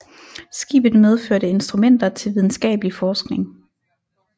Skibet medførte instrumenter til videnskabelig forskning